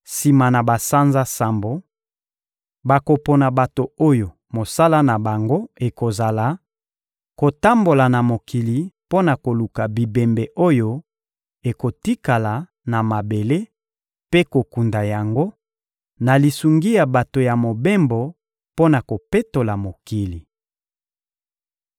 Sima na basanza sambo, bakopona bato oyo mosala na bango ekozala: kotambola na mokili mpo na koluka bibembe oyo ekotikala na mabele mpe kokunda yango, na lisungi ya bato ya mobembo mpo na kopetola mokili.